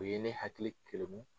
O ye ne hakili kelemu